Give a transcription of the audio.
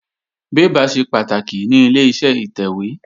Bébà ṣe pàtàkì ní Ileṣẹ́ ìtẹ̀wé